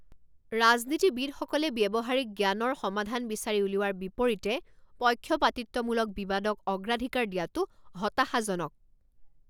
ৰাজনীতিবিদসকলে ব্যৱহাৰিক জ্ঞানৰ সমাধান বিচাৰি উলিওৱাৰ বিপৰীতে পক্ষপাতিত্বমূলক বিবাদক অগ্ৰাধিকাৰ দিয়াটো হতাশাজনক।